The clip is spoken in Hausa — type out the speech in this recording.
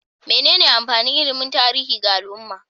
Menene amfanin ilimin tarihi ga al'umma?